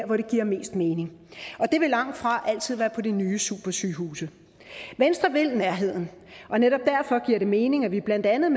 hvor det giver mest mening og det vil langtfra altid være på de nye supersygehuse venstre vil nærheden og netop derfor giver det mening at vi blandt andet